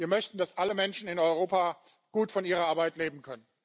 Wir möchten, dass alle Menschen in Europa gut von ihrer Arbeit leben können.